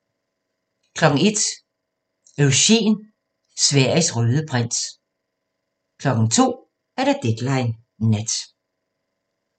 01:00: Eugen – Sveriges røde prins 02:00: Deadline Nat